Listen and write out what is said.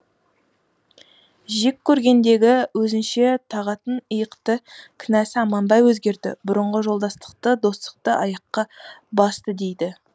жек көргендегі өзінше тағатын иықты кінәсі аманбай өзгерді бұрынғы жолдастықты достықты аяққа басты дейді